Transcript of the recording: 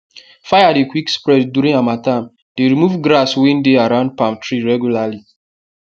fire dey quick spread during harmattan dey remove grass wey dey around palm tree regularly